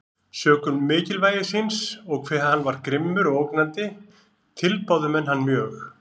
Sökum mikilvægi síns, og hve hann var grimmur og ógnandi, tilbáðu menn hann mjög.